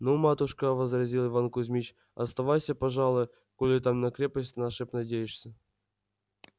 ну матушка возразил иван кузмич оставайся пожалуй коли ты на крепость нашу надеешься